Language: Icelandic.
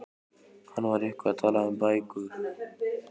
Hann var eitthvað að tala um bækur.